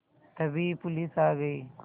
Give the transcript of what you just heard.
तभी पुलिस आ गई